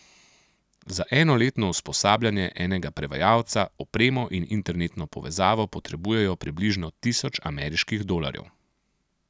Za enoletno usposabljanje enega prevajalca, opremo in internetno povezavo potrebujejo približno tisoč ameriških dolarjev.